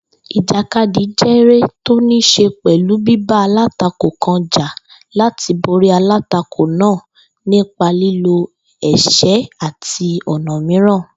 Ìjàkadì jéré tó níí s̩e pè̩lú bíba alátakò kan jà láti borí alátakò náà nípa lílo è̩s̩é̩ àti ò̩nà mìíràn